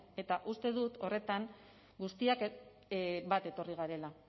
eta uste dut horretan guztiak bat etorri garela